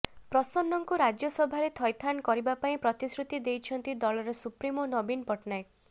ପ୍ରସନ୍ନଙ୍କୁ ରାଜ୍ୟସଭାରେ ଥଇତାନ କରିବା ପାଇଁ ପ୍ରତିଶୃତି ଦେଇଛନ୍ତି ଦଳର ସୁପ୍ରିମୋ ନବୀନ ପଟ୍ଟନାୟକ